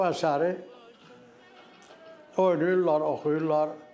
Bu əsəri oynayırlar, oxuyurlar.